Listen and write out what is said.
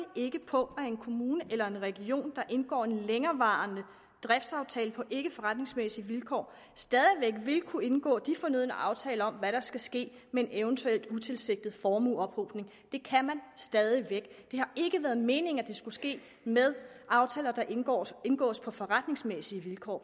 ikke på at en kommune eller en region der indgår en længerevarende driftsaftale på ikke forretningsmæssige vilkår stadig væk vil kunne indgå de fornødne aftaler om hvad der skal ske med en eventuel utilsigtet formueophobning det kan man stadig væk det har ikke været meningen at det skulle ske med aftaler der indgås indgås på forretningsmæssige vilkår